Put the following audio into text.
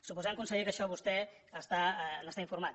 suposem conseller que d’això vostè n’està informat